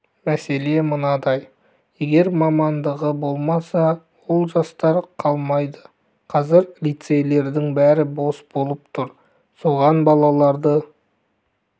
мәселе мынадай егер мамандығы болмаса ол жастар қалмайды қазір лицейлердің бәрі бос болып тұр соған балаларды